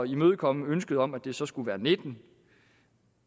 imødekomme ønsket om at det så skulle være nittende